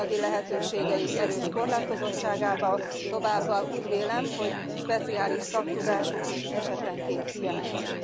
az anyagi lehetőségeik erős korlátozottságában, továbbá úgy vélem, hogy speciális szaktudásuk is esetenként hiányos.